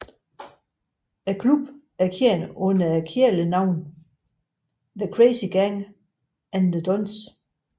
Klubben var kendt under kælenavnene The Crazy Gang og The Dons